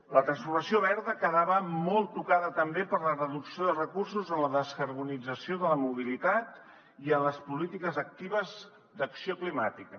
la transformació verda quedava molt tocada també per la reducció de recursos en la descarbonització de la mobilitat i en les polítiques actives d’acció climàtica